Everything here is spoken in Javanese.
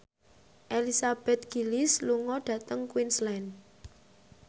Elizabeth Gillies lunga dhateng Queensland